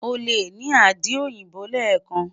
o le ni adi oyinbo lẹẹkan